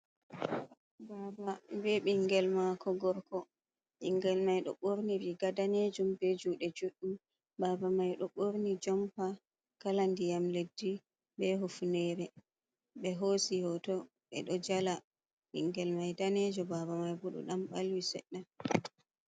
Baaba be ɓingel maako gorko, ɓingel mai ɗo ɓorni riiga daneejum be juuɗe juɗɗum, baaba mai ɗo ɓorni jompa kala ndiyam leddi, be hufunere, ɓe hoosi hooto ɓe ɗo jala, bingel mai daneejo, baaba mai bo ɗo ɗan ɓalwi seɗɗa.